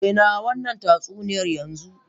Daina wannan tatsuniya yanzu!